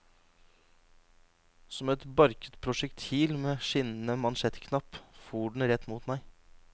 Som et barket prosjektil med skinnende mansjettknapp for den rett mot meg.